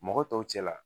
Mɔgɔ tɔw cɛ la